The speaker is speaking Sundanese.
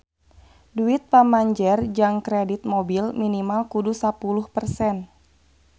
Duit pamanjer jang kredit mobil minimal kudu sapuluh persen